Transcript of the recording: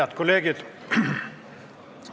Head kolleegid!